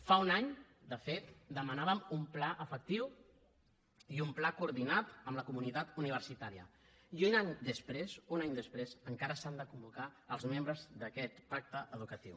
fa un any de fet demanàvem un pla efectiu i un pla coordinat amb la comunitat universitària i un any després un any després encara s’han de convocar els membres d’aquest pacte educatiu